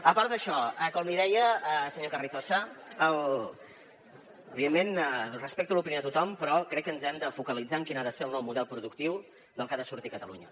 a part d’això com li deia senyor carrizosa evidentment respecto l’opinió de tothom però crec que ens hem de focalitzar en quin ha de ser el nou model productiu del que ha de sortir catalunya